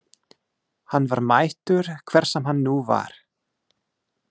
Hann var mættur, hver sem hann nú var.